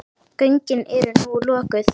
Göngin eru nú lokuð.